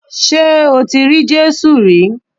Ṣé o ti rí Jésù rí